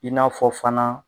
I n'a fɔ fana